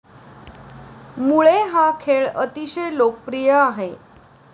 मुळे हा खेळ अतिशय लोकप्रिय आहे.